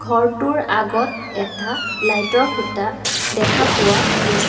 ঘৰটোৰ আগত এটা লাইট ৰ খুঁটা দেখা পোৱা গৈছে।